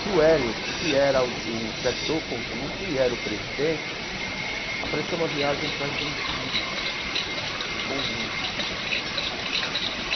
Que o Hélio, que era o chefe do conjunto e era o presidente, apareceu uma viagem para a Argentina, para o conjunto.